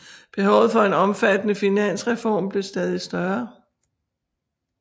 Behovet for en omfattende finansreform blev stadig større